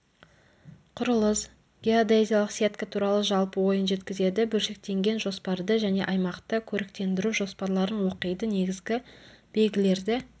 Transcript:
құрылыс геодезиялық сетка туралы жалпы ойын жеткізеді бөлшектенген жоспарды және аймақты көріктендіру жоспарларын оқиды негізгі белгілерді